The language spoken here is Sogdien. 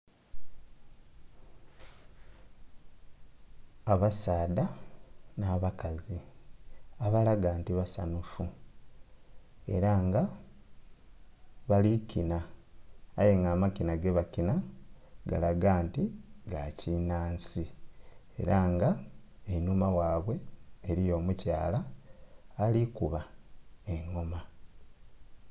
Abasaadha nha bakazi abalaga nti basanhufu era nga bali kinna aye nga amakinha gebakinna galaga nti ga kinansi era nga einhuma ghaibwe eriyo omukyala ali kuba engoma.